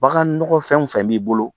Bagan nɔgɔ fɛn fɛn b'i bolo